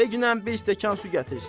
De ginən bir stəkan su gətirsinlər.